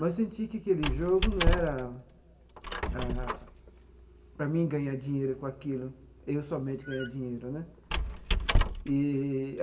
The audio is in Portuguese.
mas senti que aquele jogo não era ah para mim ganhar dinheiro com aquilo, eu somente ganhar dinheiro né eee.